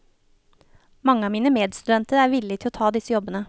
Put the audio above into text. Mange av mine medstudenter er villig til å ta disse jobbene.